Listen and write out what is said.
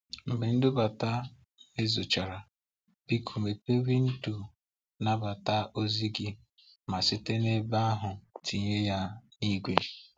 Mgbe nbudata mezuchara, biko mepee windo nnabata ozi gị ma site n’ebe ahụ tinye ya n'igwe.